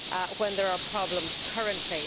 when there are problems currently.